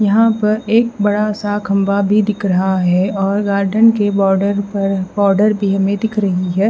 यहां पर एक बड़ा सा खंबा भी दिख रहा है और गार्डन के बॉर्डर पर बॉर्डर भी हमें दिख रही है।